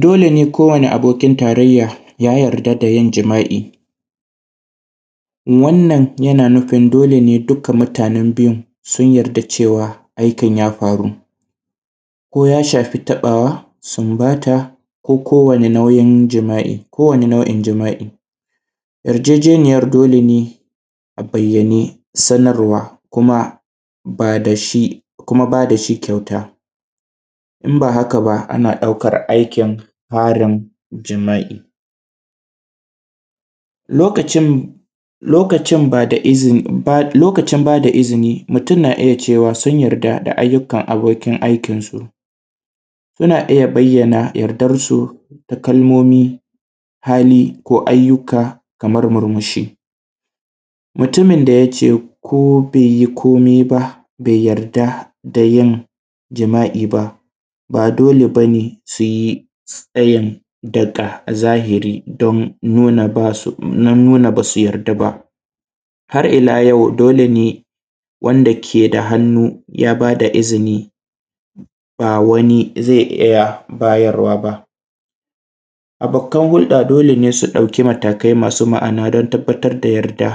Dole ne ko wani abokin tarayya ya yarda da yin jima’i, wannan yana nufin dole ne duka mutanen biyun sun yarda cewa aikin ya faru ko ya shafi taɓawa sunbata koko wani nau’in jima’i. Kowani naui’n jima’i yarjejeniyan dole ne a bayyane sanarwa kuma bada shi kuma ba da shi kyauta in ba haka ba ana ɗaukan aikin farin jima’i lokacin, lokacin ba da ba da lokacin ba da izini mutum na iya cewa su yarda da ayyukan abokin aikinsu suna iya bayyana yardansu ta kalmomi hali ko ayyuka kamar murmushi. Mutumin da ya ce ko be yi komai ba be yarda da yin jima’i ba, ba dole ba ne se ɗayan daga zahiri domin nuna da nuna ba su yarda ba, har ila yau dole ne wanda ke da hannun ya fi ta izini, ba wani ze iya bayarwa ba. Abokan hurɗa dole ne su ɗauki matakai ma’ana don tabbatar da yadda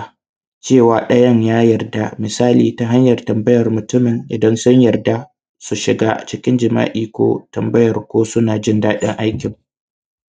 cewa ɗayan ya yarda, misali ta hanyan tambayar mutumin idan sun yarda su shiga cikin jima’i ko tambayar ko suna jin daɗin aikin.